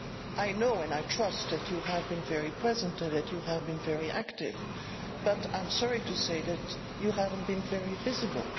I know and I trust that you have been very present and very active, but I am sorry to say that you have not been very visible.